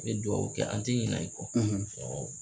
I bɛ dugawu kɛ an tɛ ɲina i kɔ.